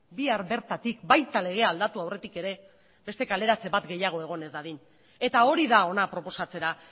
bihar bertatik baita legea aldatu aurretik ere beste kaleratze bat gehiago egon ez dadin eta hori da hona proposatzera